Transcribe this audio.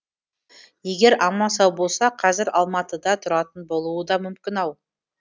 егер аман сау болса қазір алматыда тұратын болуы да мүмкін ау